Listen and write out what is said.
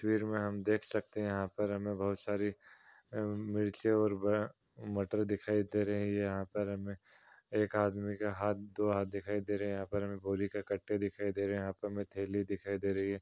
तस्वीर में हम देख सकते हैं यहाँ पर हमे बहुत सारी मिर्ची और ब मटर दिखाई दे रही है। यहाँ पर हमे एक आदमी का हाथ दो हाथ दिखाई दे रहा है। यहाँ पर हमे बोरी के कट्टे दिखाई दे रहे हैं यहाँ पर थैली दिखाई दे रही है।